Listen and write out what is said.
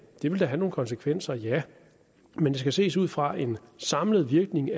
vil da have nogle konsekvenser ja men det skal ses ud fra en samlet virkning